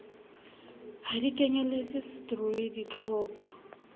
ha di kenyeletse setroi ditlhoka